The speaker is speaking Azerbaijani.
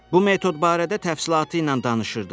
Bu metod barədə təfəssülatı ilə danışırdı.